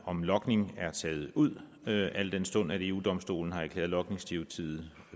om logning er taget ud al den stund eu domstolen har erklæret logningsdirektivet